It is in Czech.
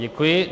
Děkuji.